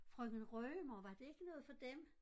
Frøken Rømer var det ikke noget for Dem?